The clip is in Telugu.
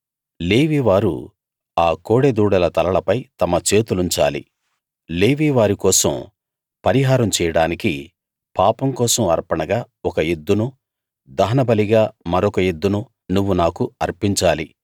లేవీ వారు ఆ కోడెదూడల తలలపై తమ చేతులుంచాలి లేవీ వారి కోసం పరిహారం చేయడానికి పాపం కోసం అర్పణగా ఒక ఎద్దునూ దహనబలిగా మరొక ఎద్దునూ నువ్వు నాకు అర్పించాలి